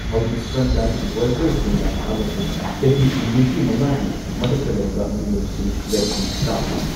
ꯍꯧꯖꯤꯛ ꯐ꯭ꯔꯟꯠꯂꯥꯏꯟ ꯋꯥꯔꯀꯔꯁꯤꯡꯅ ꯑꯃꯁꯨꯡ ꯆꯍꯤ ꯅꯤꯐꯨꯃꯉꯥꯒꯤ ꯃꯊꯛꯇ ꯂꯩꯕ ꯃꯤꯑꯣꯏꯁꯤꯡ ꯚꯦꯛꯁꯤꯟ ꯀꯥꯞꯂꯤ ꯫